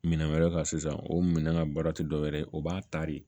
Minɛn wɛrɛ kan sisan o minɛn ka baara tɛ dɔwɛrɛ ye o b'a ta de